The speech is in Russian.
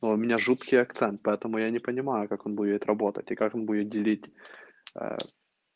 а у меня жуткий акцент поэтому я не понимаю как он будет работать и как он будет делить ээ